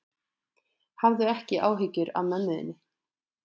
Hafðu ekki áhyggjur af mömmu þinni.